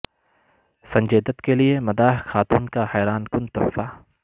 سنجے دت کیلئے مداح خاتون کا حیران کن تحفہ